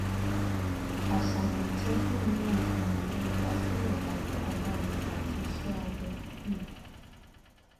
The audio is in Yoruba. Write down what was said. aṣayan itọju ni oògùn awọn idasilẹ aifọkanbalẹ ati iṣẹ abẹ um